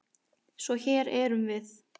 Svo hér erum við.